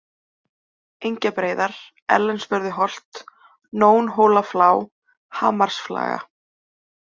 Engjabreiðar, Ellensvörðuholt, Nónhólaflá, Hamarsflaga